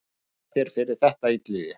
Þakka þér fyrir þetta Illugi.